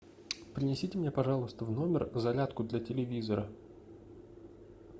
принесите мне пожалуйста в номер зарядку для телевизора